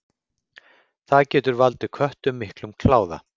Það getur valdið köttum miklum kláða.